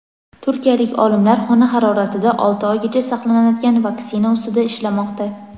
turkiyalik olimlar xona haroratida olti oygacha saqlanadigan vaksina ustida ishlamoqda.